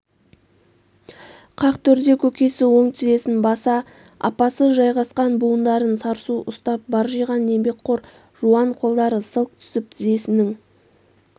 қақ төрде көкесі оң тізесін баса апасы жайғасқан буындарын сарсу ұстап баржиған еңбекқор жуан қолдары сылқ түсіп тізесінің